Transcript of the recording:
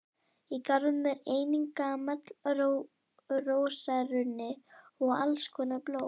Í garðinum er einnig gamall rósarunni og alls konar blóm.